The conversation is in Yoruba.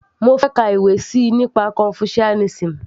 mo fẹ́ ka ìwé síi nípa confucianism